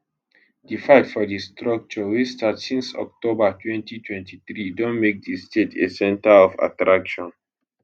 di fight for di structure wey start since october 2023 don make di state a center of attraction